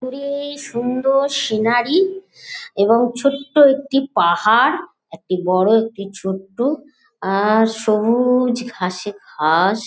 দূরে-এ সুন্দর সিনারি এবং ছোট্ট একটি পাহাড় একটি বড় একটি ছোট্ট আর সবুজ-অ ঘাসে ঘাস।